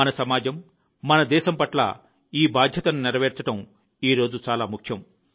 మన సమాజం మన దేశం పట్ల ఈ బాధ్యతను నెరవేర్చడం ఈ రోజు చాలా ముఖ్యం